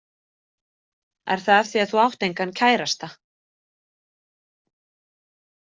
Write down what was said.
Er það af því að þú átt engan kærasta?